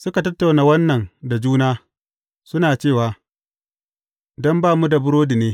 Suka tattauna wannan da juna, suna cewa, Don ba mu da burodi ne.